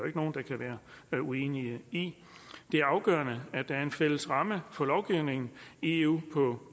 ikke nogen der kan være uenig i det er afgørende at der er en fælles ramme for lovgivningen i eu på